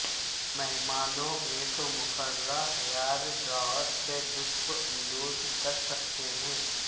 مہمانوں ایک مقررہ ہیار ڈرائر سے لطف اندوز کر سکتے ہیں